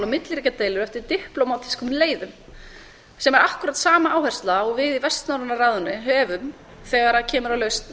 milliríkjadeilur eftir diplómatískum leiðum sem er akkkúrat sama áhersla og við í vestnorræna ráðinu höfum þegar kemur að lausn